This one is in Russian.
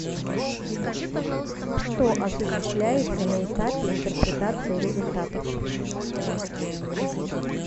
что осуществляется на этапе интерпретации результатов